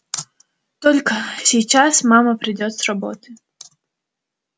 только сейчас мама придёт с работы